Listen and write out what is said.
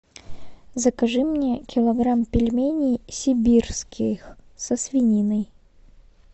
закажи мне килограмм пельменей сибирских со свининой